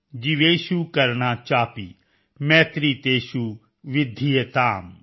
ਜੀਵੇਸ਼ੁ ਕਰੁਣਾ ਚਾਪਿ ਮੈਤ੍ਰੀ ਤੇਸ਼ੁ ਵਿਧਿਯਤਾਮ